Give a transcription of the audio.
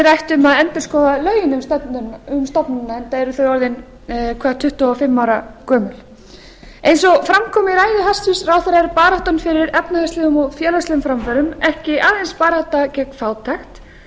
rætt um að endurskoða lögin um stofnunina enda eru þau orðið tuttugu og fimm ára gömul eins og fram kom í ræðu hæstvirts ráðherra er baráttan fyrir efnahagslegum dag félagslegum framförum ekki aðeins barátta gegn fátækt